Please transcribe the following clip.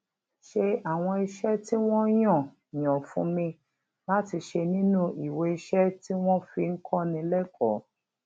ṣe àwọn iṣé tí wón yàn yàn fún mi láti ṣe nínú iweiṣẹ tí wón fi ń kóni lékòó